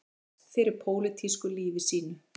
Berst fyrir pólitísku lífi sínu